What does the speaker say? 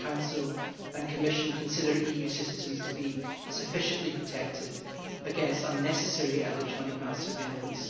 Do the Council and Commission consider EU citizens to be sufficiently protected against unnecessary electronic mass surveillance?